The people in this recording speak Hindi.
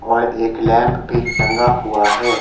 और एक लैंप भी टंगा हुआ है।